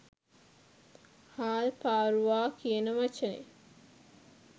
හාල් පාරුවා කියන වචනෙ